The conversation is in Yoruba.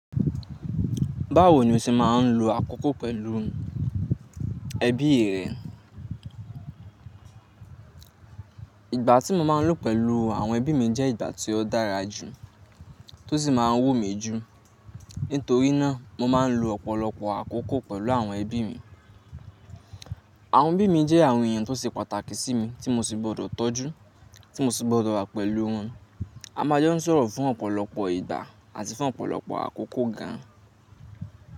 Báwo ni o ṣe máà ń lo àkókò pẹ̀lú ẹbí rẹ? Ìgbà tí mo máa ń lò pẹ̀lú àwọn ẹbí mi jẹ́ ìgbà tí ó dára jù tó sì máa ń wù mí jù. Nítorí náà, mo máa ń lo ọ̀pọ̀lọpọ̀ àkókò pẹ̀lú àwọn ẹbí mi. Àwọn ẹbí mi jẹ́ àwọn èèyàn tó ṣe pàtàkì sí mi, tí mo sì gbọdọ̀ tọ́jú, tí mo sì gbọdọ̀ wà pẹ̀lú wọn. A máa jẹ́ ń sọ̀rọ̀ fún ọ̀pọ̀lọpọ̀ ìgbà àti fún ọ̀pọ̀lọpọ̀ àkókò gan.